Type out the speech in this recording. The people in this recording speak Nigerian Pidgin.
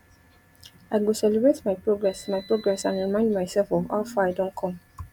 i go celebrate my progress my progress and remind myself of how far i don come